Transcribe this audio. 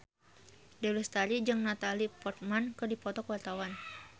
Dewi Lestari jeung Natalie Portman keur dipoto ku wartawan